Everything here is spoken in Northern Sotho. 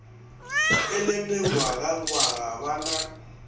e le mengwagangwaga ba na